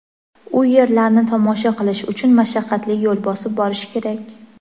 u yerlarni tomosha qilish uchun mashaqqatli yo‘l bosib borish kerak.